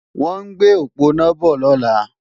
Wọ́n ń gbé òponá bọ̀ lọ́la